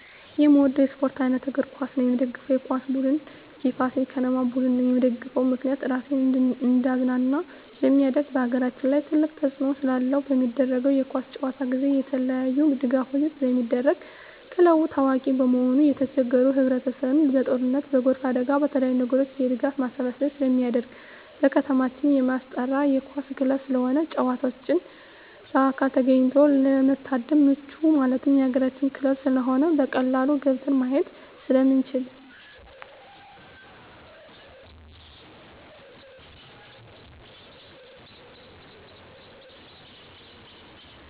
የምወደው የስፓርት አይነት እግር ኳስ ነው። የምደግፈው የኳስ ቡድን የፋሲል ከነማ ቡድን ነው። የምደግፍበት ምክንያት ራሴን እንዳዝናና ስለማደርግ በአገራችን ትልቅ ተፅዕኖ ስላለው። በሚደረገው የኳስ ጨዋታ ጊዜ የተለያዪ ድጋፎች ስለሚደረጉ ክለቡ ታዋቂ በመሆኑ የተቸገሩ ህብረቸሰብ በጦርነት በጎርፍ አደጋ በተለያዪ ነገሮች የድጋፍ ማሰባሰቢያ ስለሚደረግ። በከተማችን የማስጠራ የኳስ ክለብ ስለሆነ ጨዋታውን በአካል ተገኝቶ ለመታደም ምቹ ማለት የአገራችን ክለብ ስለሆነ በቀላሉ ገብተን ማየት ስለምንችል።